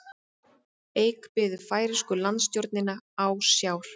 Eik biður færeysku landstjórnina ásjár